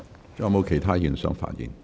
是否有其他議員想發言？